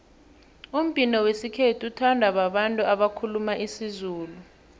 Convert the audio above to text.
umbhino wesikhethu uthandwa babantu abakhuluma isizulu